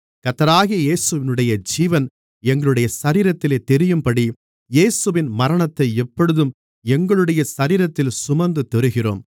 கர்த்தராகிய இயேசுவினுடைய ஜீவன் எங்களுடைய சரீரத்திலே தெரியும்படி இயேசுவின் மரணத்தை எப்பொழுதும் எங்களுடைய சரீரத்தில் சுமந்து திரிகிறோம்